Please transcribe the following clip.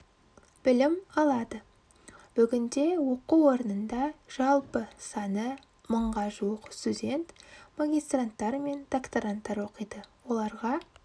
білім алады бүгінде оқу орнында жалпы саны мыңға жуық студент магистранттар мен докторанттар оқиды оларға